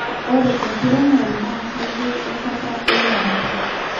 Ore enkiremore na keyieu enkata wenyuata